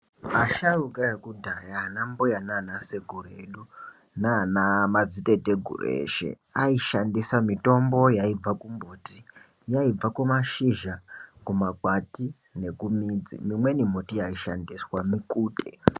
Vasharukwa vekudhaya ana mbuya naana sekuru edu naana madziteteguru eshe aishandisa mithombo yaibva kumbuti, yaibva kumashizha, kumakwati nekumidzi, imweni miti yaishandiswa mikute.